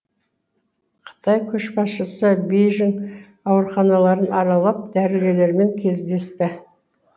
қытай көшбасшысы бейжің ауруханаларын аралап дәрігерлермен кездесті